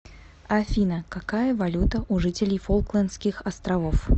афина какая валюта у жителей фолклендских островов